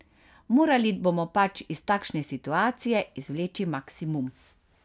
Morali bomo pač iz takšne situacije izvleči maksimum.